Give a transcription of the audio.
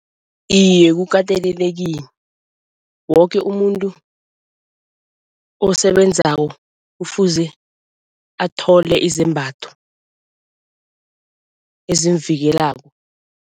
Iye kukatelelekile. Woke umuntu esebenzako kufuze athole izembatho ezimvikelako.